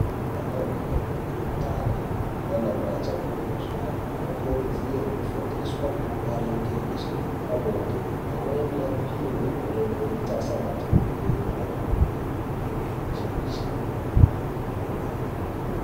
Ana mai ane ndani nana mai achangobve kuzvara anokurudzirwa kufundiswa maringe nezvepabonde amweni apihwe mitombo inoita asabata mimba chimbi-chimbi kwemene.